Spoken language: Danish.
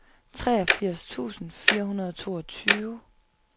treogfirs tusind fire hundrede og toogtyve